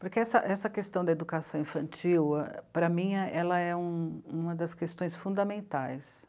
Porque essa essa questão da educação infantil, para mim, ela é um... uma das questões fundamentais